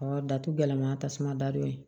datugu gɛlɛma tasuma dadon ye